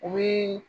U bi